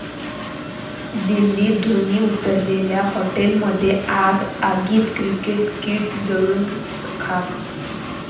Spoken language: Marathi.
दिल्लीत धोनी उतरलेल्या हॉटेलमध्ये आग, आगीत क्रिकेट किट जळून खाक